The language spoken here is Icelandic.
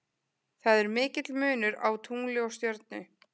Það er mikill munur á tungli og stjörnu.